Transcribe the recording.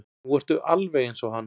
Nú ertu alveg eins og hann.